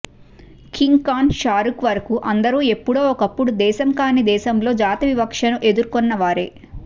king Khan Shahrukh వరకు అందరూ ఎప్పుడో ఒకప్పుడు దేశం కానీ దేశంలో జాతి వివక్షను ఎదుర్కున్న వారే